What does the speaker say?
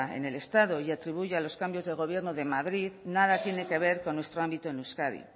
en el estado y que atribuye a los cambios de gobierno de madrid nada tiene que ver con nuestro ámbito en euskadi